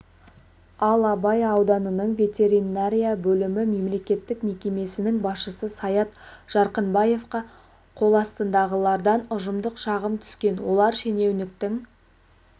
ал абай ауданының ветеринария бөлімі мемлекеттік мекемесінің басшысы саят жарқынбаевқа қоластындағылардан ұжымдық шағым түскен олар шенеуніктің